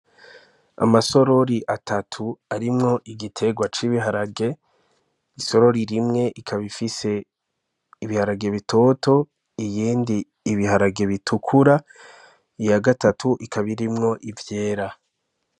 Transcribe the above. Amasorori atatu arimwo igiterwa c'biharage isorori rimwe ikaba ifise ibiharage bitoto iyindi ibiharage bitukura iya gatatu ikaba irimwo ivyera.